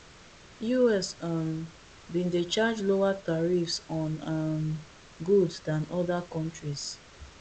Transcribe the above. us um bin dey charge lower tariffs on um goods dan oda kontris